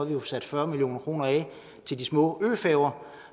vi har sat fyrre million kroner af til de små øfærger